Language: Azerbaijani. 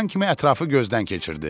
Çıxan kimi ətrafı gözdən keçirdi.